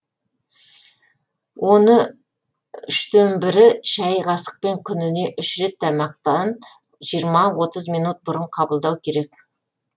оны үштен бірі шай қасықпен күніне үш рет тамақтан жиырма отыз минут бұрын қабылдау керек